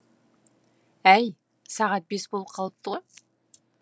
әй сағат бес болып қалыпты